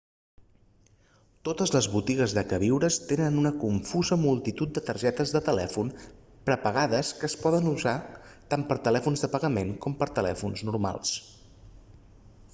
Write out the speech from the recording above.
totes les botigues de queviures tenen una confusa multitud de targetes de telèfon prepagades que es poden usar tant per telèfons de pagament com per telèfons normals